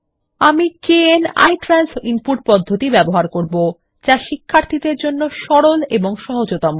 আমি kn ITRANS input পদ্ধতি ব্যবহার করব যা শিক্ষার্থীদের জন্য সরল এবং সহজতম